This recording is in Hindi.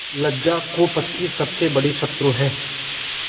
लज्जा कुपथ की सबसे बड़ी शत्रु है